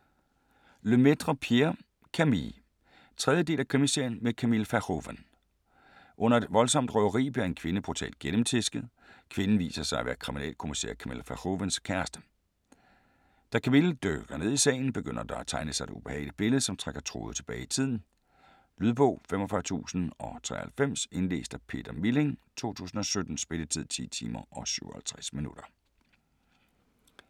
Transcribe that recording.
Lemaitre, Pierre: Camille 3. del af Krimiserien med Camille Verhoeven. Under et voldsomt røveri bliver en kvinde brutalt gennemtæsket. Kvinden viser sig at være kriminalkommissær Camille Verhoevens kæreste. Da Camille dykker ned i sagen, begynder der at tegne sig et ubehageligt billede, som trækker tråde tilbage i tiden. Lydbog 45093 Indlæst af Peter Milling, 2017. Spilletid: 10 timer, 57 minutter.